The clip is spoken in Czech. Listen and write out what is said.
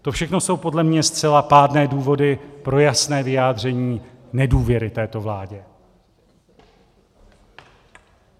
To všechno jsou podle mě zcela pádné důvody pro jasné vyjádření nedůvěry této vládě.